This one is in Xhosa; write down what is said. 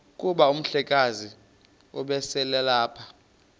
kuba umhlekazi ubeselelapha